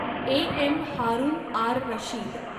A. M. Harun R Rashid